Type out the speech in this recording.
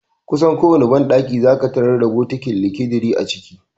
Kusan kowane banɗaki zaka tarar da bokiti (likidiri) a ciki.